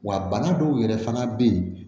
Wa bana dɔw yɛrɛ fana bɛ yen